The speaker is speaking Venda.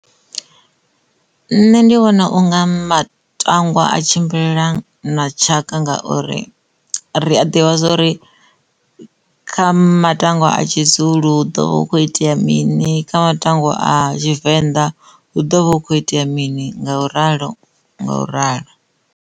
Nṋe ndi vhona unga matangwa a tshimbilelana na tshaka ngauri ri a ḓivha zwori kha matangwa a tshizulu ḓo vha hu khou itea mini kha matangwa a tshivenḓa hu ḓo vha hu khou itea mini nga u ralo nga u ralo.